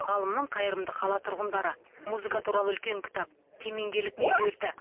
ғалымның қайырымды қала тұрғындары музыка туралы үлкен кітап кемеңгерлік меруерті